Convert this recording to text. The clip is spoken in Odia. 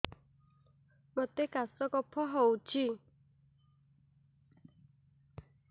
ମୋତେ କାଶ କଫ ହଉଚି